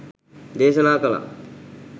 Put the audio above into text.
දේශනා කළා.